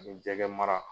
Ani jɛgɛ mara